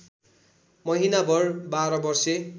महिनाभर १२ वर्षे